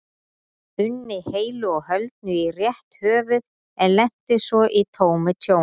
unni heilu og höldnu í rétt höfuð en lenti svo í tómu tjóni.